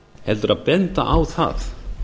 heldur að benda á það